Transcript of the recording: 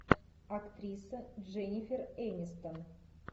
актриса дженнифер энистон